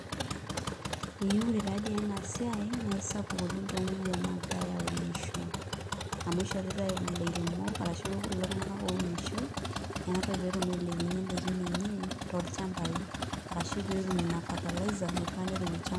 Ee ore taadii ena siai naa sapuk oleng' toomuruan naagirai aunisho amu ishoritai ilairemok arashu kulo tung'anak ounisho ena toki pee etum ailepunyie indaikin enye tolchambai arashu pee etum ina fertilizer naifaa pee etum ilchambai.